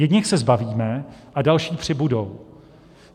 Jedněch se zbavíme a další přibudou.